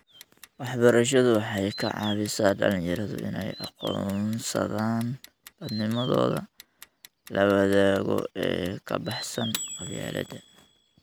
Waxbarashadu waxay ka caawisaa dhalinyaradu inay aqoonsadaan dadnimadooda la wadaago ee ka baxsan qabyaaladda.